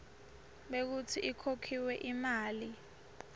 bekutsi ikhokhiwe imali